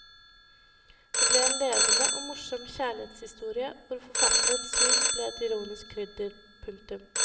Det ble en levende og morsom kjærlighetshistorie hvor forfatterens syn ble et ironisk krydder. punktum